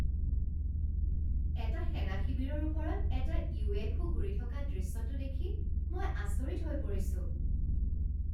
এটা সেনা শিবিৰৰ ওপৰত এটা ইউএফও ঘূৰি থকা দৃশ্যটো দেখি মই আচৰিত হৈ পৰিছোঁ।